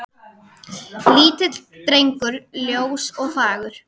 Lítill drengur ljós og fagur.